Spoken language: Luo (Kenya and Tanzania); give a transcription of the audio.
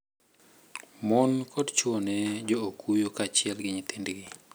Mon koda chuo ne jo okuyo kaachiel gi nyithindgi.